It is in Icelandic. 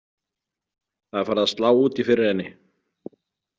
Það er farið að slá út í fyrir henni.